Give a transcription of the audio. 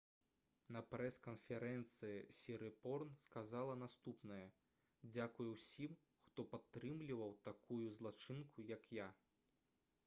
на прэс-канферэнцыі сірыпорн сказала наступнае: «дзякуй усім хто падтрымліваў такую злачынку як я»